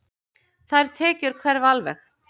Þær tekjur hverfa alveg.